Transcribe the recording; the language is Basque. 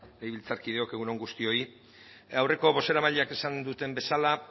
legebiltzarkideok egun on guztioi aurreko bozeramaileek esan duten bezala